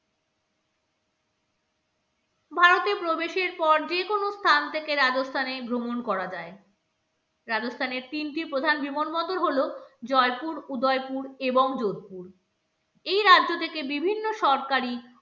ভারতে প্রবেশের পর যেকোনো স্থান থেকে রাজস্থানে ভ্রমণ করা যায় রাজস্থানের তিনটি প্রধান বিমানবন্দর হলো জয়পুর, উদয়পুর এবং যোধপুর এই রাজ্য থেকে বিভিন্ন সরকারি